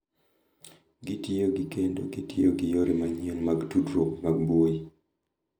Gitiyo gi kendo gitiyo gi yore manyien mag tudruok mag mbui.